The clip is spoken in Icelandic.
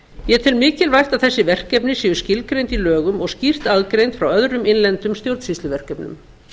ég tel mikilvægt að þessi verkefni skuli skilgreind í lögum og skýrt aðgreind frá öðrum innlendum stjórnsýsluverkefnum